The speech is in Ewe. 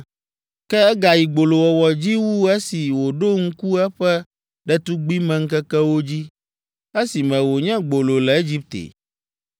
Ke egayi gbolowɔwɔ dzi wu esi wòɖo ŋku eƒe ɖetugbimeŋkekewo dzi, esime wònye gbolo le Egipte.